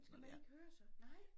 Den skal man ikke høre så nej